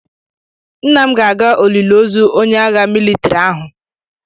Nna m ga-aga olili ozu onye agha mịlịtrị ahụ.